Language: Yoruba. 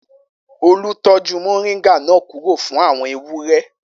Olú tọ́jú moringa náà kúrò fún àwọn ewúrẹ́.